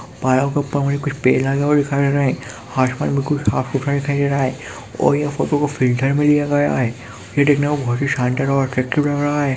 पहाड़ों के ऊपर मुझे कुछ पेड़ लगे हुए दिखाई दे रहे है आसमान बिल्कुल साफ- सुथरा दिखाई दे रहा है और यह फोटो को फिल्टर में लिया गया है यह दिखने में बहुत ही शानदार और अट्रैक्टिव लग रहा हैं।